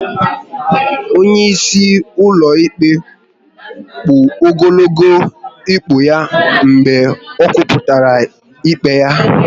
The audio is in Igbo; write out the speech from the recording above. Onye isi ụlọ ikpe kpụ ogologo okpu ya mgbe o kwuputara ikpe ya